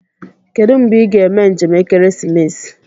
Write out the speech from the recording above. Kedụ mgbe ị ga-eme njem ekeresimesi